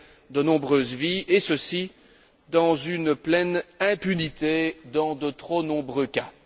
de nombreuses vies et ceci, dans une pleine impunité dans de trop nombreux cas.